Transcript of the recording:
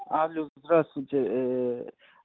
алло здравствуйте